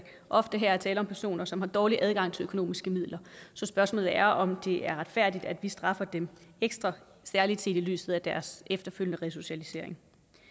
ofte her er tale om personer som har dårlig adgang til økonomiske midler så spørgsmålet er om det er retfærdigt at vi straffer dem ekstra særlig set i lyset af deres efterfølgende resocialisering